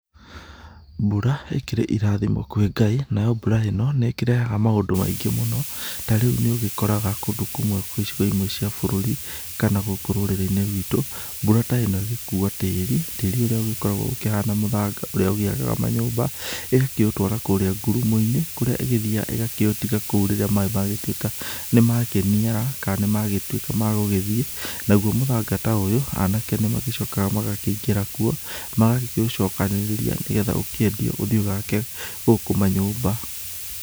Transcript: Mbura ĩkĩrĩ irathimo kwĩ Ngai, nayo mbura ĩno, nĩ ĩkĩrehaga maũndũ maingĩ mũno, ta rĩu nĩ ũgĩkoraga kũndũ kũmwe icigo imwe cia bũrũri, kana gũkũ rũrĩrĩ-inĩ rwitũ, mbura ta ĩno ĩgĩkua tĩri, tĩri ũrĩa ũgĩkoragwo ũkĩhana mũthanga ũrĩa ũgĩakaga manyũmba, ĩgakĩũtwara kũrĩa ngurumo-inĩ kũrĩa ĩgĩthiaga ĩgakĩũtiga kou rĩrĩa maĩ magĩtuĩka nĩmakĩniara, kana nĩ magĩtuĩka ma gũgĩthiĩ, naguo mũthanga ta ũyũ anake nĩ magĩcokaga magakĩingĩra kuo, magakĩũcokanĩrĩria nĩgetha ũkĩendio ũthiĩ ũgake gũkũ manyũmba.